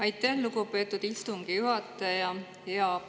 Aitäh, lugupeetud istungi juhataja!